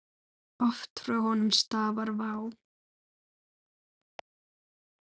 Oft frá honum stafar vá.